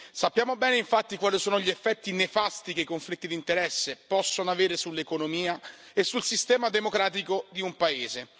Sappiamo bene, infatti, quali sono gli effetti nefasti che i conflitti di interesse possono avere sull'economia e sul sistema democratico di un paese.